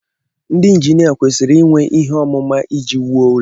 Ndị injinia kwesịrị inwe ihe ọmụma iji wuo ụlọ